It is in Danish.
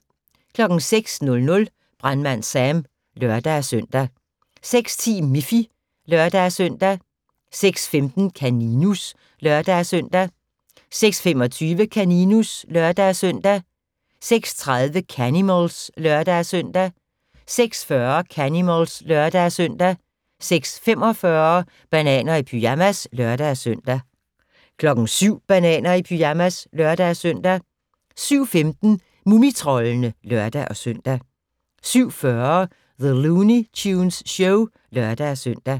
06:00: Brandmand Sam (lør-søn) 06:10: Miffy (lør-søn) 06:15: Kaninus (lør-søn) 06:25: Kaninus (lør-søn) 06:30: Canimals (lør-søn) 06:40: Canimals (lør-søn) 06:45: Bananer i pyjamas (lør-søn) 07:00: Bananer i pyjamas (lør-søn) 07:15: Mumitroldene (lør-søn) 07:40: The Looney Tunes Show (lør-søn)